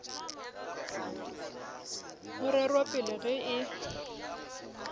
go rerwa pele ge e